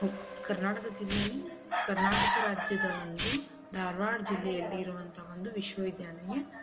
ಕರ್ನಾಟಕ ಜಿಲ್ಲೆಯಲ್ಲಿ ಕರ್ನಾಟಕ ರಾಜ್ಯದ ಒಂದು ಧಾರವಾಡ ಜಿಲ್ಲೆಯಲ್ಲಿ ಇರುವಂತಹ ವಿಶ್ವ ವಿದ್ಯಾಲಯ.